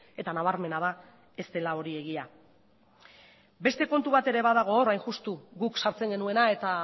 eta nabarmena da ez dela hori egia beste kontu bat ere badago hor hain justu guk sartzen genuena eta